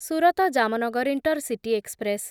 Surat Jamnagar intercity express